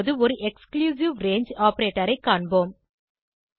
இப்போது ஒரு exclusive range operator ஐ காண்போம்